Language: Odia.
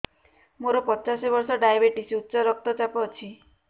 ମୋର ପଚାଶ ବର୍ଷ ଡାଏବେଟିସ ଉଚ୍ଚ ରକ୍ତ ଚାପ ଅଛି